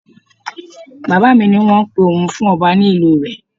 Bàbá mi ní wọ́n ń pe òun fún ọba ní ìlú rẹ.